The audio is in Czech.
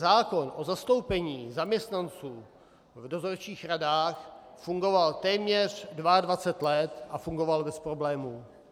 Zákon o zastoupení zaměstnanců v dozorčích radách fungoval téměř 22 let a fungoval bez problémů.